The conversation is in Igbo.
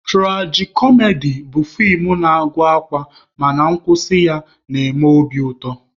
Turaji-kọmedi bụ feem na-agụ akwa mana nkwụsị ya na-eme obi ụtọ